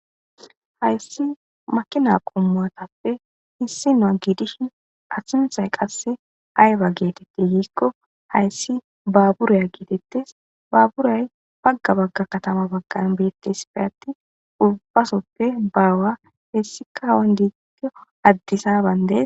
hayssi makina qommuatappe hissi noa giidishin asunhay qasse ayba geetetti yiikko hayssi baaburaya gietettes baaburay pagga bagga katama baggan beettes fe atti ubbasoppe baawa hessikawan diigito addisa bande